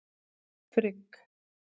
Frigg